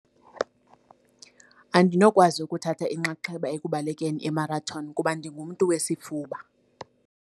Andinokwazi ukuthatha inxaxheba ekubalekeni imarathoni kuba ndingumntu wesifuba.